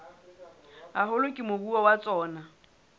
haholo ke moruo wa tsona